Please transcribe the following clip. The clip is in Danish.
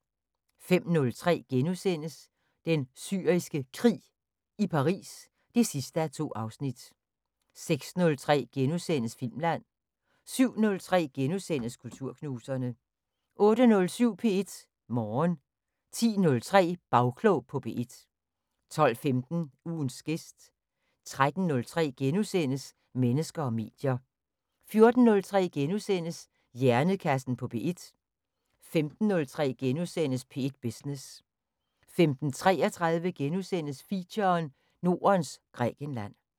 05:03: Den Syriske Krig – i Paris 2:2 (Afs. 2)* 06:03: Filmland * 07:03: Kulturknuserne * 08:07: P1 Morgen 10:03: Bagklog på P1 12:15: Ugens gæst 13:03: Mennesker og medier * 14:03: Hjernekassen på P1 * 15:03: P1 Business * 15:33: Feature: Nordens Grækenland *